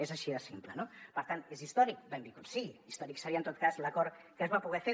és així de simple no per tant és històric benvingut sigui històric seria en tot cas l’acord que es va poder fer